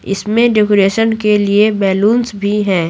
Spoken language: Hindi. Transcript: इसमें डेकोरेशन के लिए बैलूंस भी हैं।